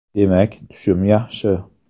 Demak, tushum yaxshi.